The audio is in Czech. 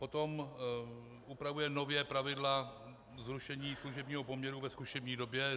Potom upravuje nově pravidla zrušení služebního poměru ve zkušební době.